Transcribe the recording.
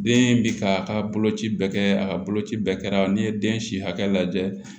Den bi ka a ka boloci bɛɛ kɛ a ka boloci bɛɛ kɛra n'i ye den si hakɛ lajɛ